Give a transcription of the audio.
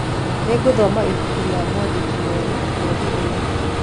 Nĩngũthoma ibuku rĩa mwandĩki mwerũ mweri ũyũ.